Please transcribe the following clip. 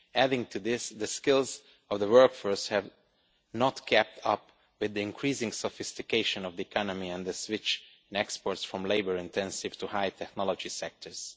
Adding to this, the skills of the workforce have not kept up with the increasing sophistication of the economy and the switch in exports from labour intensive to high technology sectors.